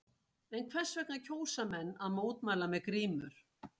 En hvers vegna kjósa menn að mótmæla með grímur?